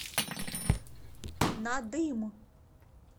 надым